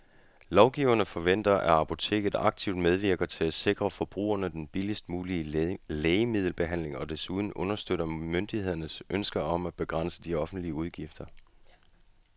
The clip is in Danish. Lovgiverne forventer, at apoteket aktivt medvirker til at sikre forbrugerne den billigst mulige lægemiddelbehandling og desuden understøtter myndighedernes ønske om at begrænse de offentlige udgifter.